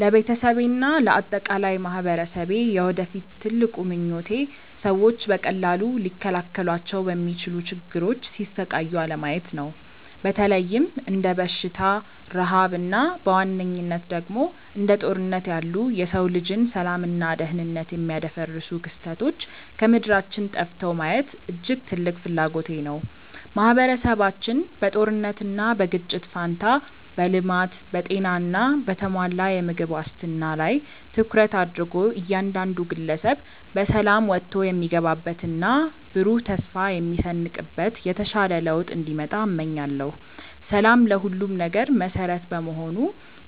ለቤተሰቤና ለአጠቃላይ ማኅበረሰቤ የወደፊት ትልቁ ምኞቴ ሰዎች በቀላሉ ሊከላከሏቸው በሚችሉ ችግሮች ሲሰቃዩ አለማየት ነው። በተለይም እንደ በሽታ፣ ረሃብ እና በዋነኝነት ደግሞ እንደ ጦርነት ያሉ የሰው ልጅን ሰላምና ደኅንነት የሚያደፈርሱ ክስተቶች ከምድራችን ጠፍተው ማየት እጅግ ትልቅ ፍላጎቴ ነው። ማኅበረሰባችን በጦርነትና በግጭት ፋንታ በልማት፣ በጤና እና በተሟላ የምግብ ዋስትና ላይ ትኩረት አድርጎ እያንዳንዱ ግለሰብ በሰላም ወጥቶ የሚገባበትና ብሩህ ተስፋ የሚሰንቅበት የተሻለ ለውጥ እንዲመጣ እመኛለሁ። ሰላም ለሁሉም ነገር መሠረት በመሆኑ